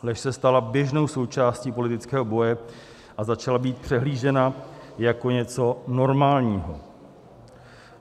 Lež se stala běžnou součástí politického boje a začala být přehlížena jako něco normálního.